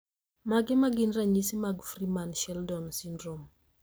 Mage magin ranyisi mag Freeman Sheldon syndrome